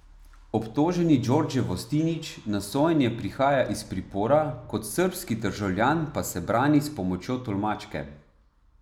Obtoženi Djordje Vostinić na sojenje prihaja iz pripora, kot srbski državljan pa se brani s pomočjo tolmačke.